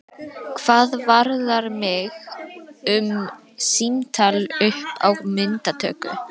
Hvað varðar mig um símtal upp á myndatöku?